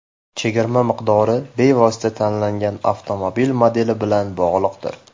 Chegirma miqdori bevosita tanlangan avtomobil modeli bilan bog‘liqdir.